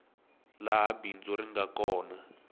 laha bindzu ri nga kona